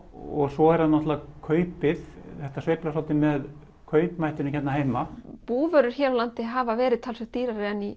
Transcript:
og svo er það náttúrulega kaupið þetta sveiflast svolítið með kaupmættinum hérna heima búvörur hér á landi hafa verið talsvert dýrari en í